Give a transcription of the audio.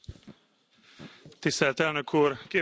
Tisztelt Elnök Úr, Képviselőtársak!